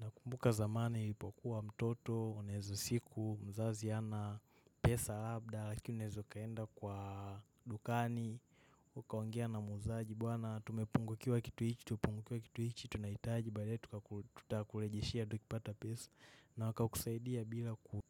Nakumbuka zamani nilipokuwa mtoto, unaeza siku, mzazi hana, pesa, labda, lakini unaeza ukaenda kwa dukani. Ukaongea na muuzaji, bwana tumepungukiwa kitu hichi, tumepungukiwa kitu hichi, tunahitaji, baadaye tukakurejeshea, tukipata pesa. Na wakakusaidia bila ku.